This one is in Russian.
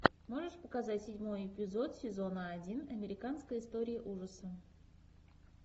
можешь показать седьмой эпизод сезона один американская история ужаса